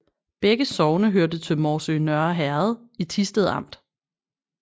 Begge sogne hørte til Morsø Nørre Herred i Thisted Amt